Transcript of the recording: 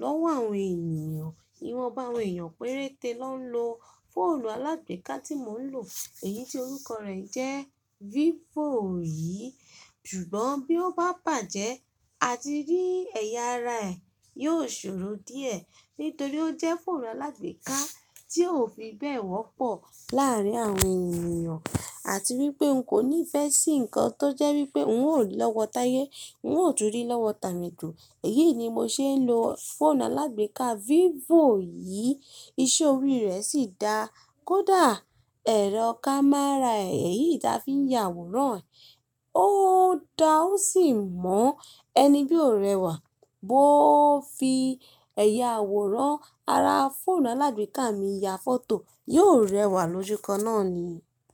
lọ́wọ́ àwọn ènìyàn. Ìwọ̀nba àwọn èeyàn péréte ló ń lo fóònù alágbèéká tí mò ń lò, èyí tí orúkọ rẹ̀ jẹ́ Vivo yìí. Ṣùgbọ́n bí ó bá bàjẹ́, àtírí ẹ̀yà ara ẹ̀ yóò ṣòro díẹ̀ nítorí ó jẹ́ fóònù alágbèéká tí ò fi bẹ́ẹ̀ wọ́pọ̀ láàrín àwọn ènìyàn àti wípé n kò ní ìfẹ́ sí nǹkan tó jẹ́ wípé n óò ri lọ́wọ́ táyé, n óò tún rí lọ́wọ́ tàmí do. Èyí ni mo ṣe ń lo fóònù alágbèéká Vivo yìí. Iṣẹ́ orí rẹ̀ sì dáa. Kódà ẹ̀rọ kámẹ́rà èyí ta fi ń ya àwòrán, ó da o sì mọ́ ẹni bí ó rẹwà bó ó fi ẹ̀yà àwòrán ara fóònù alágbèéká mi ya fọ́tò, yóò rẹwà lójúkan náà ni.